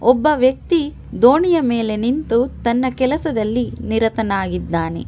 ಒಬ್ಬ ವ್ಯಕ್ತಿ ದೋಣಿಯ ಮೇಲೆ ನಿಂತು ತನ್ನ ಕೆಲಸದಲ್ಲಿ ನಿರತನಾಗಿದ್ದಾನೆ.